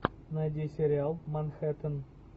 найди сериал манхэттен